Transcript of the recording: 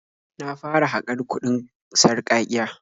Na fara haƙar kuɗin sarƙaƙiya.